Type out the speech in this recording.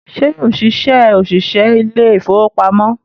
Ṣé yóò ṣiṣẹ́ òṣìṣẹ́ ilé ìfowópamọ́?